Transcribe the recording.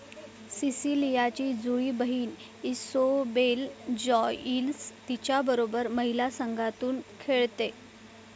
सिसिलियाची जुळी बहीण Isobel Joyce तिच्याबरोबर महिला संघातून खेळते